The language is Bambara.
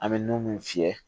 An bɛ nun mun fiyɛ